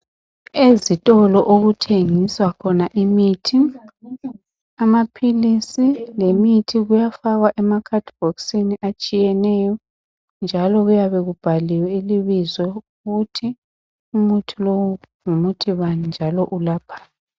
Ezitolo okuthengiswa khona imithi. Amaphilisi lemithi kuyafakwa emabhokisini atshiyeneyo njalo kuyabe kubhaliwe ibizo ukuthi ngumuthi bani njalo welaphani.